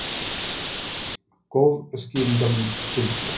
Góð skýringarmynd fylgir.